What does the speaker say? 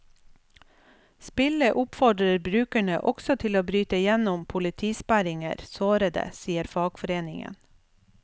Spillet oppfordrer brukerne også til å bryte igjennom politisperringer sårede, sier fagforeningen.